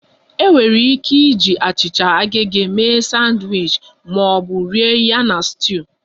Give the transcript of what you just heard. Enwere ike iji achịcha agege mee sandwiches ma ọ bụ rie ya na stew